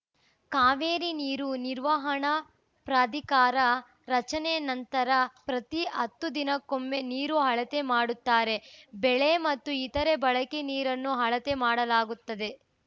ಕಾವೇರಿ ನೀರು ನಿರ್ವಹಣಾ ಪ್ರಾಧಿಕಾರ ರಚನೆ ನಂತರ ಪ್ರತಿ ಹತ್ತು ದಿನಕ್ಕೊಮ್ಮೆ ನೀರು ಅಳತೆ ಮಾಡುತ್ತಾರೆ ಬೆಳೆ ಮತ್ತು ಇತರೆ ಬಳಕೆ ನೀರನ್ನೂ ಅಳತೆ ಮಾಡಲಾಗುತ್ತದೆ